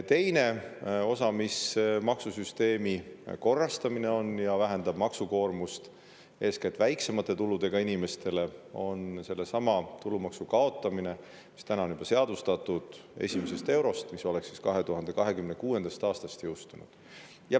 Teine osa maksusüsteemi korrastamisest, mis vähendab eeskätt väiksemate tuludega inimeste maksukoormust, on see, et kaotatakse juba seadustatud tulumaksustamine esimesest eurost, mis oleks jõustunud 2026. aastast.